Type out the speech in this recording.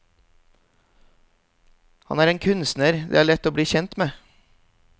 Han er en kunstner det er lett å bli kjent med.